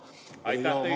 Aitäh teile!